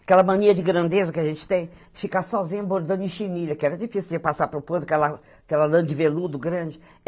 Aquela mania de grandeza que a gente tem, de ficar sozinha bordando em chinilha, que era difícil de passar para o ponto, aquela aquela lã de veludo grande.